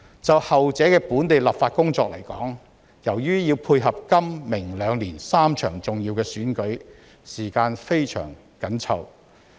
就後者的本地立法工作來說，由於要配合今明兩年3場重要的選舉，時間非常緊湊。